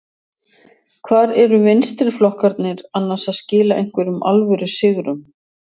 Hvar eru vinstriflokkarnir annars að skila einhverjum alvöru sigrum?